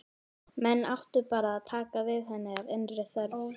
Menn áttu bara að taka við henni af innri þörf.